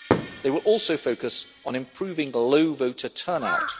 They will also focus on improving the low voter turnout.